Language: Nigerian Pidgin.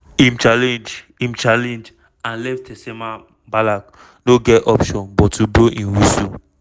im challenge im challenge and left tessema bamlak no get option but to blow im whistle.